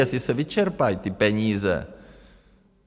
Jestli se vyčerpají ty peníze.